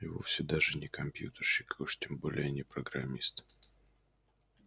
и вовсе даже не компьютерщик и уж тем более не программист